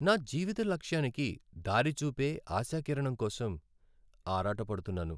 నా జీవిత లక్ష్యానికి దారి చూపే ఆశాకిరణం కోసం ఆరాటపడుతున్నాను.